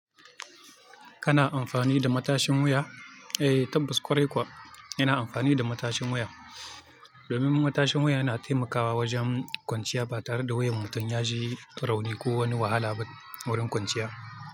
Kana amfani da matashin wuya? Eh, tabbas ƙwarai kuwa ina amfani da matashin wuya domin matashin wuya yana taimakawa wajen kwanciya ba tare da wuyan mutum ya ji rauni ko wani wahala ba wurin kwanciya.